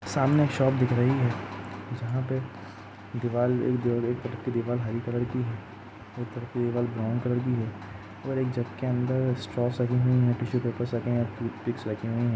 सामने एक शॉप दिख रही है जहां पर दीवार एक तरफ की दीवार रही कलर की है एक तरफ की दीवार ब्राउन कलर की है और एक जग के अंदर स्ट्रॉस लगे हुए हैं टिशू पेपर ----